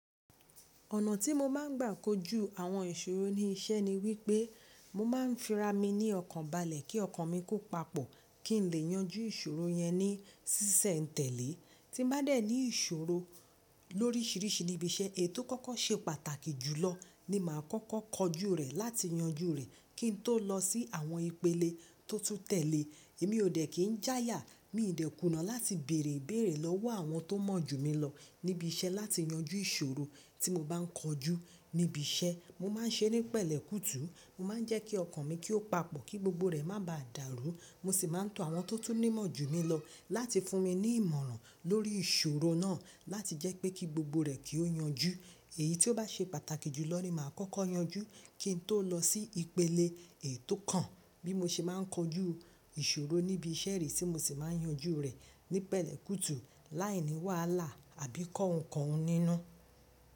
Ọ̀nà tí mo máa ń gbà kojú àwọn ìṣòro ní iṣẹ́ ni wípé mo máa ń fi ra mi ní ọkàn balẹ̀, kí ọkàn mi kó papọ̀, kí n lè yanjú ìṣòro yẹn ní ṣísẹ̀ n tẹ̀lé. Tí bá dẹ̀ ní ìṣòro lóríṣìíríṣìí níbi iṣẹ́, èyí tó kọ́kọ́ ṣe pàtàkì jùlọ ni màá kọ́kọ́ kojú rẹ̀ láti yanjú rẹ̀ kí n tó lọ sí àwọn ìpele tó tún tẹ̀lé. Èmi ò dẹ̀ kín jáya, mi ò dẹ̀ kùnà láti bèrè ibèèrè lọ́wọ́ àwọn tó mọ̀ jù mí lọ níbi iṣẹ́ láti yanjú ìṣòro tí mo bá ń kojú níbi iṣẹ́. Mo má ń ṣe ní pẹ̀lẹ́ kùtù. Mo má ń jẹ́ kí ọkàn mi kí ó papọ̀ kí gbogbo rẹ̀ má bàa dàrú. Mo sì máa ń tọ àwọn tó tún nímọ̀ jù mí lọ láti fún mi ní ìmọ̀ràn lórí ìṣòro náà láti jẹ́ pé kí gbogbo rẹ̀ kí ó yanjú. Èyí tí ó bá ṣe pàtàkì jùlọ ni màá kọ́kọ́ yanjú kí n tó lọ sí ìpele èyí tó kàn bí mo ṣe má ń kojú ìṣòro níbi iṣẹ́ rẹ, tí mo sì má ń yanjú rẹ̀ ní pẹ̀lẹ́ kùtù láìní wàhálà àbí kọ́hun kọ́hun nínú.